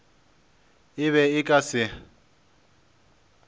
e be e ka se